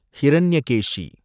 Hiranyakeshi